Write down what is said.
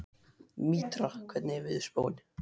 Mítra, hvernig er veðurspáin?